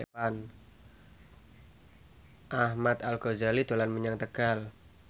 Ahmad Al Ghazali dolan menyang Tegal